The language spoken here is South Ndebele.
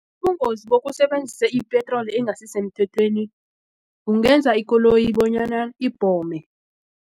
Ubungozi bokusebenzisa ipetroli engasisemthethweni kungenza ikoloyi bonyana ibhome.